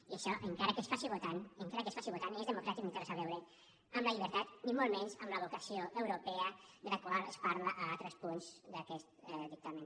i això encara que es faci votant encara que es faci votant ni és democràtic ni té res a veure amb la llibertat ni molt menys amb la vocació europea de la qual es parla a altres punts d’aquest dictamen